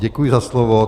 Děkuji za slovo.